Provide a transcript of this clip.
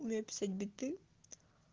умею писать биты